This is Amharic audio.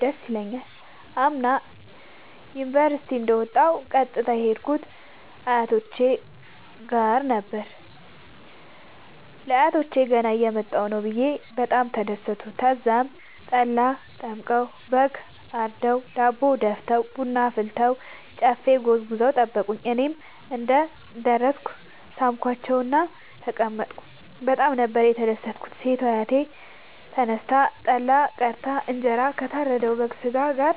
ደስ ይለኛል። አምና ዩኒቨርሢቲ እንደ ወጣሁ ቀጥታ የሄድኩት አያቶቼ ጋር ነበር። ለአያቶቸ ገና እየመጣሁ ነዉ ብየ በጣም ተደሠቱ። ተዛም ጠላ ጠምቀዉ በግ አርደዉ ዳቦ ደፍተዉ ቡና አፍልተዉ ጨፌ ጎዝጉዘዉ ጠበቁኝ። እኔም እንደ ደረስኩ ሣምኳቸዉእና ተቀመጥኩ በጣም ነበር የተደትኩት ሴቷ አያቴ ተነስታ ጠላ ቀድታ እንጀራ ከታረደዉ የበግ ስጋ ጋር